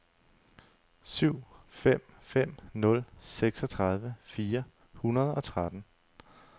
syv fem fem nul seksogtredive fire hundrede og tretten